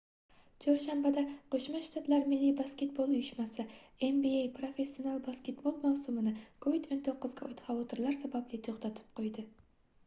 chorshanbada qo'shma shtatlar milliy basketbol uyushmasi nba professional basketbol mavsumini covid-19 ga oid xavotirlar sababli to'xtatib qo'ydi